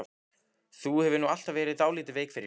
Þú hefur nú alltaf verið dálítið veik fyrir